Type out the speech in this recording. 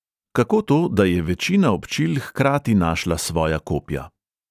Kako to, da je večina občil hkrati našla svoja kopja?